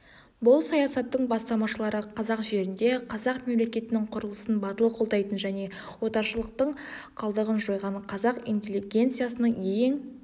бұл саясаттың бастамашылары қазақ жерінде қазақ мемлекетінің құрылысын батыл қолдайтын және отаршылдықтың қалдығын жойған қазақ интеллигенциясының ең